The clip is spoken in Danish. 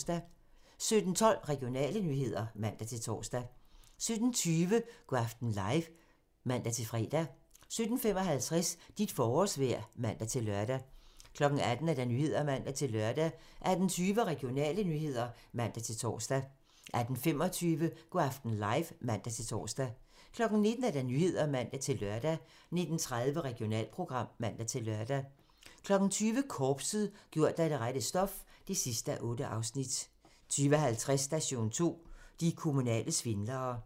17:12: Regionale nyheder (man-tor) 17:20: Go' aften live (man-fre) 17:55: Dit forårsvejr (man-lør) 18:00: Nyhederne (man-lør) 18:20: Regionale nyheder (man-tor) 18:25: Go' aften live (man-tor) 19:00: Nyhederne (man-lør) 19:30: Regionalprogram (man-lør) 20:00: Korpset - gjort af det rette stof (8:8) 20:50: Station 2: De kommunale svindlere